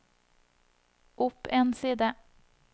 opp en side